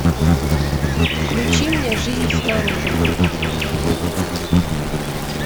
включи мне жизнь снаружи